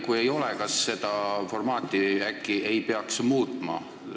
Kui ei ole, kas ei peaks äkki seda formaati muutma?